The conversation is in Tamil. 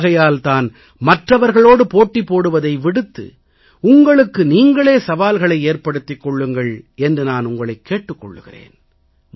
ஆகையால் தான் மற்றவர்களோடு போட்டி போடுவதை விடுத்து உங்களுக்கு நீங்களே சவால்களை ஏற்படுத்திக் கொள்ளுங்கள் என்று நான் உங்களைக் கேட்டுக் கொள்கிறேன்